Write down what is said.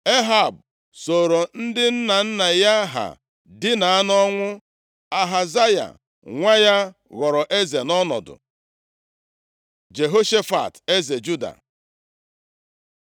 Ehab sooro ndị nna nna ya ha dina nʼọnwụ. Ahazaya nwa ya ghọrọ eze nʼọnọdụ. Jehoshafat, eze Juda